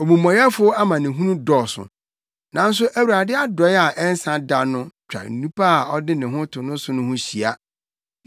Omumɔyɛfo amanehunu dɔɔso, nanso Awurade adɔe a ɛnsa da no twa onipa a ɔde ne ho to no so no ho hyia.